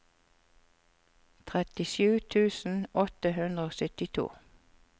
trettisju tusen åtte hundre og syttito